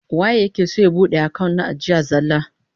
Waye yake son ya bude account na ajiya zallah?